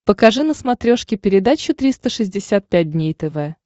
покажи на смотрешке передачу триста шестьдесят пять дней тв